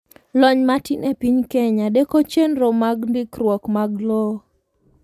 Lony matin epiny Kenya deko chenroag ndikruok mag lowo.